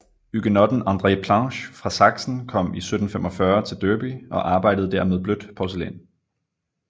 Huguenotten André Planché fra Sachsen kom i 1745 til Derby og arbejdede der med blødt porcelæn